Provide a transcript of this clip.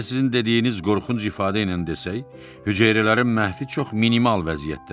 Əgər sizin dediyiniz qorxunc ifadə ilə desək, hüceyrələrin məhvi çox minimal vəziyyətdədir.